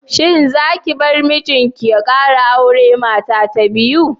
Shin zaki bar mijinki ya kara auri mata ta biyu?